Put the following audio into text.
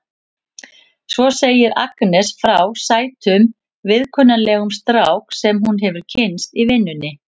Svo segir Agnes frá sætum og viðkunnanlegum strák sem hún hefur kynnst í vinnunni.